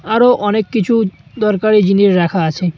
আরো অনেক কিছু দরকারি জিনিস রাখা আছে।